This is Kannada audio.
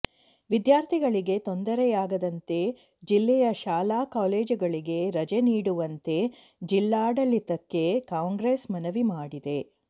ವಿದ್ಯಾರ್ಥಿಗಳಿಗೆ ತೊಂದರೆಯಾಗದಂತೆ ಜಿಲ್ಲೆಯ ಶಾಲಾ ಕಾಲೇಜುಗಳಿಗೆ ರಜೆ ನೀಡುವಂತೆ ಜಿಲ್ಲಾಡಳಿತಕ್ಕೆ ಕಾಂಗ್ರೆಸ್ ಮನವಿ ಮಾಡಿದೆ